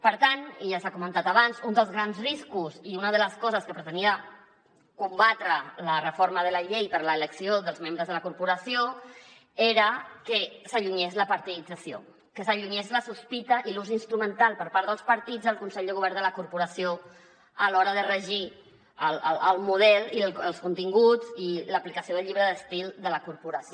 per tant i ja s’ha comentat abans un dels grans riscos i una de les coses que pretenia combatre la reforma de la llei per a l’elecció dels membres de la corporació era que s’allunyés la partidització que s’allunyés la sospita i l’ús instrumental per part dels partits al consell de govern de la corporació a l’hora de regir el model i els continguts i l’aplicació del llibre d’estil de la corporació